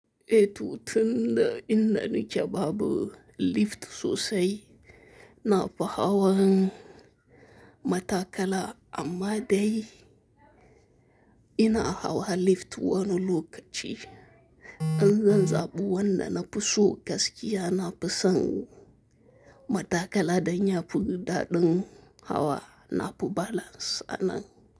Ee to tunda ina nike babu lift sosai nafi hawan mataakalaa, amma dayi inaa hawa lift wani lokachi. In zan zaɓun wanna nafi so gaskiya nafi san mataakalaa danya fi daɗin hawa nafi balance anan.